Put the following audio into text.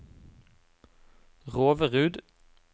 Roverud